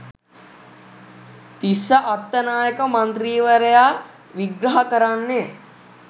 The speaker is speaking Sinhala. තිස්ස අත්තනායක මන්ත්‍රීවරයා විග්‍රහ කරන්නේ